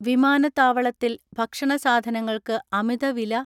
വിമാ നത്താവളത്തിൽ ഭക്ഷണ സാധനങ്ങൾക്ക് അമിതവില